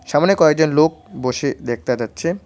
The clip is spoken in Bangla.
সামোনে কয়েকজন লোক বসে দেখতা যাচ্ছে।